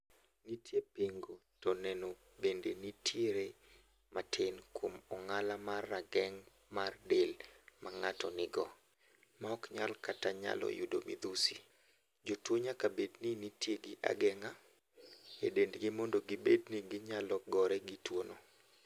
Nitie pingo to neno bende nitie re matin kuom ong'ala mar rageng' mar del ma ng'ato nigo ma ok nyal kata nyalo yudo midhusi. Jotuo nyaka bedni gintie gi ageng'a e dendgi mondo gibedni gi nyalo gore gi tuo no.